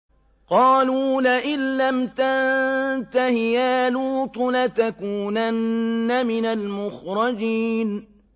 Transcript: قَالُوا لَئِن لَّمْ تَنتَهِ يَا لُوطُ لَتَكُونَنَّ مِنَ الْمُخْرَجِينَ